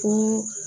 Ko